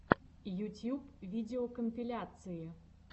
ютьюб видеокомпиляции